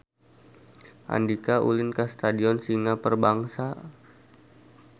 Andika ulin ka Stadion Singa Perbangsa